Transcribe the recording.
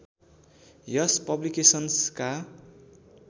यस पब्लिकेसन्सका